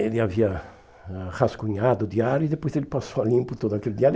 Ele havia ah rascunhado o diário e depois ele passou a limpo todo aquele diário.